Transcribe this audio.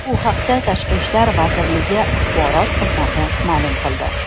Bu haqda Tashqi ishlar vazirligi axborot xizmati ma’lum qildi .